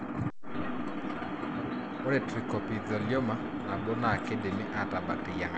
Ore trichoepithelioma nabo naa kidimi atabak teyiangata.